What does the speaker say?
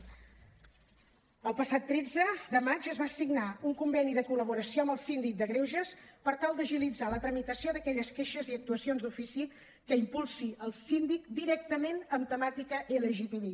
el passat tretze de maig es va signar un conveni de col·laboració amb el síndic de greuges per tal d’agilitzar la tramitació d’aquelles queixes i actuacions d’ofici que impulsi el síndic directament amb temàtica lgtbi